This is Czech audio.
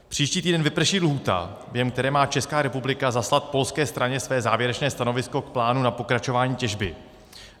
Příští týden vyprší lhůta, během které má Česká republika zaslat polské straně své závěrečné stanovisko k plánu na pokračování těžby.